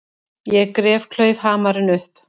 Ég gref klaufhamarinn upp.